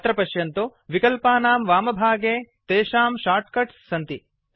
अत्र पश्यन्तु विकल्पानां वामभागे तेश्ःआं शार्ट्कट्स् सन्ति